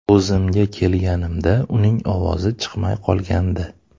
O‘zimga kelganimda uning ovozi chiqmay qolgandi.